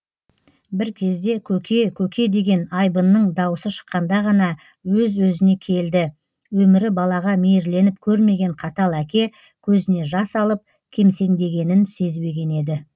бір кезде көке көке деген айбынның даусы шыққанда ғана өз өзіне келді өмірі балаға мейірленіп көрмеген қатал әке көзіне жас алып кемсеңдегенін сезбеген еді